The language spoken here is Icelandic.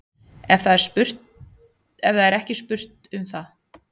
En það er ekki spurt um það.